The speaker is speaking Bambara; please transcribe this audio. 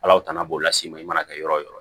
Ala tana b'o las'i ma i mana kɛ yɔrɔ o yɔrɔ